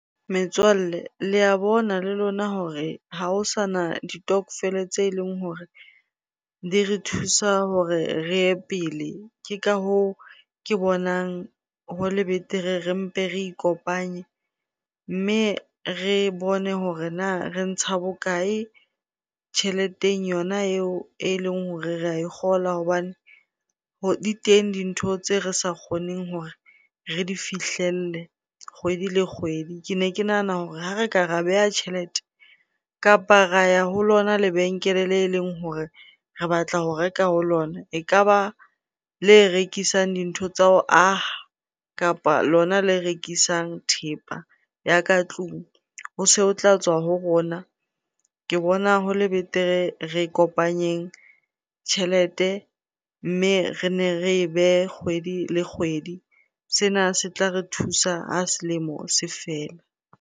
Metswalle le ya bona le lona hore ha ho sana ditokofele tse leng hore di re thusa hore re ye pele. Ke ka hoo ke bonang hole betere re mpe re ikopanye mme re bone hore na re ntsha bokae tjheleteng yona eo eleng hore re a e kgola hobane di teng dintho tse re sa kgoneng hore re di fihlelle kgwedi le kgwedi. Ke ne ke nahana hore ha re ka ra beha tjhelete kapa ra ya ho lona lebenkele le leng hore re batla ho reka ho lona, ekaba le rekisang dintho tsa ho aha kapa lona le rekisang thepa ya ka tlung ho se ho tla tswa ho rona. Ke bona hole betere re kopanyeng tjhelete mme re ne re behe kgwedi le kgwedi. Sena se tla re thusa ha selemo se fela.